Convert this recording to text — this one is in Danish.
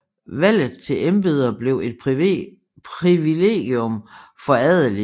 Valget til embeder blev et privilegium for adelige